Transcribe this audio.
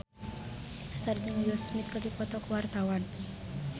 Nassar jeung Will Smith keur dipoto ku wartawan